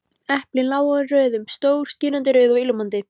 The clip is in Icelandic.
Eplin lágu í röðum, stór, skínandi rauð og ilmandi.